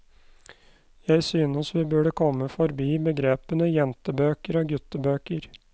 Jeg synes vi burde komme forbi begrepene jentebøker og guttebøker.